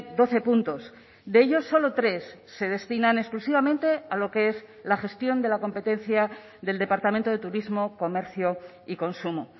doce puntos de ellos solo tres se destinan exclusivamente a lo que es la gestión de la competencia del departamento de turismo comercio y consumo